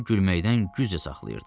Özünü gülməkdən güclə saxlayırdı.